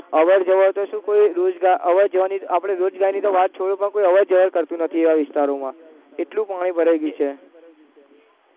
અવરજવર તો શું કોઈ રોજ, આવવા જવાની આપણે કોઈ રોજગારીની તો વાત છોડો પણ કોઈ અવરજવર કરતુ નથી આ વિસ્તરોમાં એટલું પાણી ભરાઈ ગયું છે